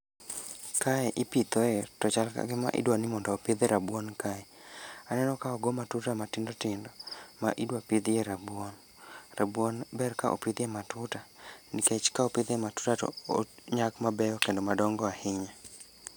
Kae ipithoe to chal ka gima idwai mondo opidh rabuon kae. Aneno ka ogo matuta matindo tindo, ma idwa pidhiye rabuon. Rabuon ber ka opidhie matuta, nikech ka opidhie matuta to onyak mabeyo kendo ma dongo ahinya.